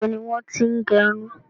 Níbo ni wọn ti n gẹrun?